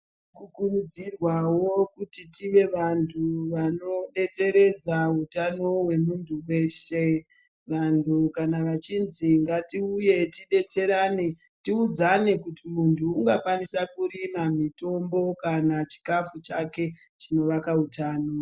Tinokurudzirwawo kuti tive vantu vano tedzeredza utano hwemuntu weshe , vantu kana vachinzi ngatiuye tidetserane tiudzane kuti muntu ungakwanisa Kurima mitombo kana chikafu chake chinovaka utano.